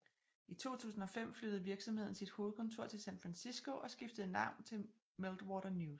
I 2005 flyttede virksomheden sit hovedkontor til San Francisco og skiftede navn til Meltwater News